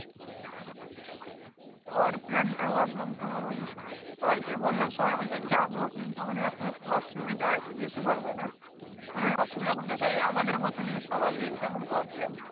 যাবার plan টা ভাবলাম তোমার ঐ সবাই কে বললাম সবাই বলছে যাবো কিন্তু এখন একটু অসুবিধা আছে যেতে পারবে না মানে অসুবিধা বলতে সেই আমাদের মতন ই সবারই exam এর problem